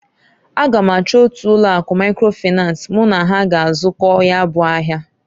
A ga m achọ otu ụlọ akụ Maikro Finans mụ na ha g'azụkọ ya bụ ahịa.